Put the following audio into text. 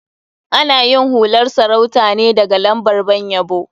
Ana yin hular sarauta ne daga lambar ban yabo.